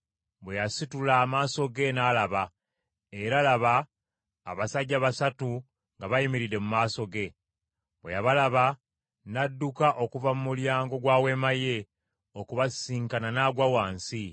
Bwe yasitula amaaso ge n’alaba, era laba, abasajja basatu nga bayimiridde mu maaso ge. Bwe yabalaba, n’adduka okuva mu mulyango gwa weema ye, okubasisinkana n’agwa wansi,